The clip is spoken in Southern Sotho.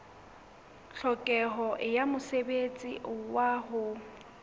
tlhokeho ya mosebetsi wa ho